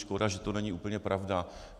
Škoda, že to není úplně pravda.